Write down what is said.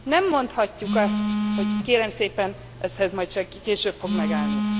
Nem mondhatjuk azt, hogy kérem szépen ez majd csak később fog megállni.